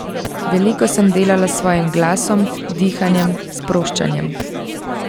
Veliko sem delala s svojim glasom, dihanjem, sproščanjem.